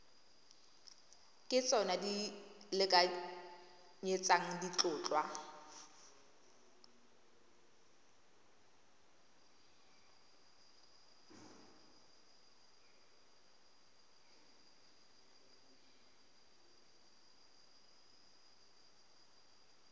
ke tsona di lekanyetsang ditlhotlhwa